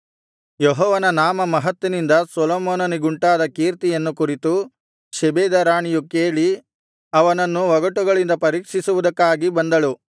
ಯೆಹೋವನ ನಾಮಮಹತ್ತಿನಿಂದ ಸೊಲೊಮೋನನಿಗುಂಟಾದ ಕೀರ್ತಿಯನ್ನು ಕುರಿತು ಶೆಬೆದ ರಾಣಿಯು ಕೇಳಿ ಅವನನ್ನು ಒಗಟುಗಳಿಂದ ಪರೀಕ್ಷಿಸುವುದಕ್ಕಾಗಿ ಬಂದಳು